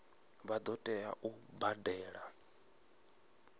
vha ḓo tea u badela